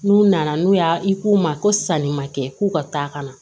N'u nana n'u y'a i k'u ma ko sanni ma kɛ k'u ka taa kana na